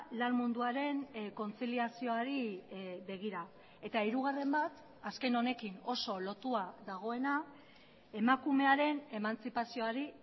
lan munduaren kontziliazioari begira eta hirugarren bat azken honekin oso lotua dagoena emakumearen emantzipazioari